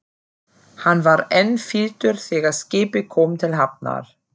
Hann var enn fýldur þegar skipið kom til hafnar.